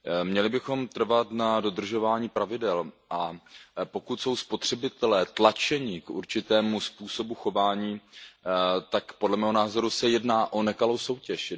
Měli bychom trvat na dodržování pravidel, a pokud jsou spotřebitelé tlačeni k určitému způsobu chování, tak se podle mého názoru jedná o nekalou soutěž.